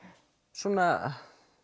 svona